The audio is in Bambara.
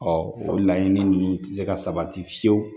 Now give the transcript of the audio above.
o laɲini ninnu tɛ se ka sabati fiyewu